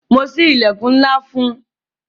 Mo sí ilẹkun ńlá fún un